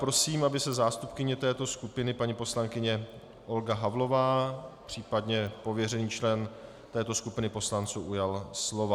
Prosím, aby se zástupkyně této skupiny paní poslankyně Olga Havlová, případně pověřený člen této skupiny poslanců, ujala slova.